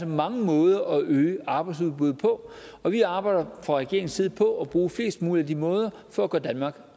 mange måder at øge arbejdsudbudet på og vi arbejder fra regeringens side på at bruge flest mulige af de måder for at gøre danmark